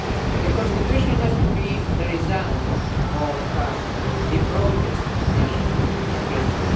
The constitution has to be the result of the broadest national agreement.